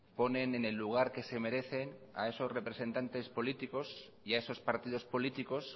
ponen en el lugar que se merecen a esos representantes políticos y a esos partidos políticos